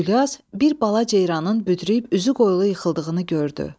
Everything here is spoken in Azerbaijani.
Gülyaz bir balaca ceyranın büdrüyüb üzü qoylu yıxıldığını gördü.